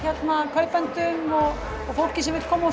kaupendum og fólki sem vill koma